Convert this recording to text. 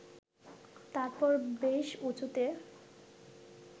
তারপর বেশ উঁচুতে